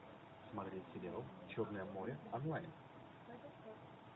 смотреть сериал черное море онлайн